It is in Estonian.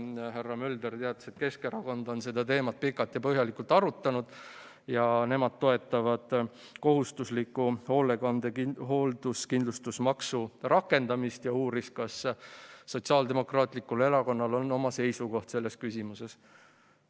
Härra Mölder teatas, et Keskerakond on seda teemat pikalt ja põhjalikult arutanud ja nemad toetavad kohustusliku hoolduskindlustusmaksu rakendamist, ja uuris, kas Sotsiaaldemokraatlikul Erakonnal on oma seisukoht selles küsimuses.